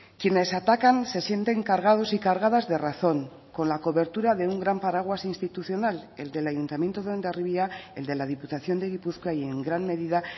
quienes atacan se sienten cargados y cargadas de razón con la cobertura de un gran paraguas institucional el del ayuntamiento de hondarribia el de la diputación de gipuzkoa y en gran medida